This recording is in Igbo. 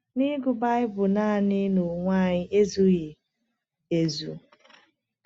Na ịgụ Baịbụl naanị n’onwe anyị ezughị ezu.